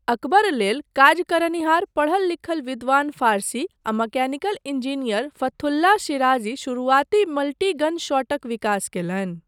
अकबर लेल काज करनिहार पढ़ल लिखल विद्वान फारसी आ मैकेनिकल इंजीनियर फथुल्लाह शिराजी शुरुआती मल्टी गन शॉटक विकास कयलनि।